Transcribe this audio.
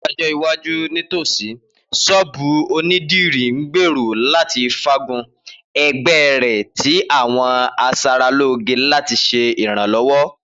Ni ọjọ iwaju nitosi, sọ́ọ́bú onidiri ngbero lati faagun ẹgbẹ rẹ ti awọn aṣaralóge lati ṣe iranlọwọ.